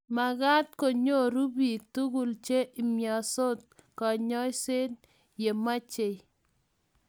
mekat konyoru biik tugul che imyansot kanyoiset ya mechei.